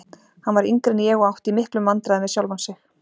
Hann var yngri en ég og átti í miklum vandræðum með sjálfan sig.